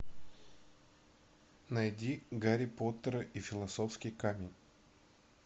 найди гарри поттера и философский камень